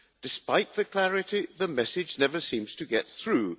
Despite the clarity, the message never seems to get through.